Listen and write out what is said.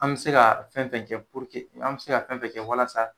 An be se ka fɛn fɛn kɛ puruke an be se ka fɛn fɛn kɛ walasa